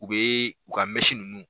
U bɛ u ka ninnu.